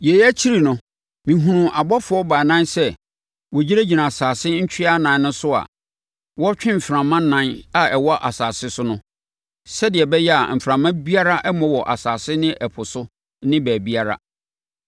Yei akyi no, mehunuu abɔfoɔ baanan sɛ, wɔgyinagyina asase ntweaa nan no so a wɔretwe mframa nan a ɛwɔ asase so no, sɛdeɛ ɛbɛyɛ a mframa biara remmɔ wɔ asase ne ɛpo so ne baabiara.